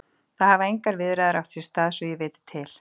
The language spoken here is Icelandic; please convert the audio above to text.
Það hafa engar viðræður átt sér stað svo ég viti til.